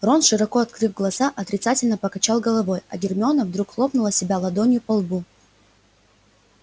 рон широко открыв глаза отрицательно покачал головой а гермиона вдруг хлопнула себя ладонью по лбу